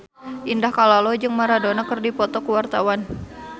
Indah Kalalo jeung Maradona keur dipoto ku wartawan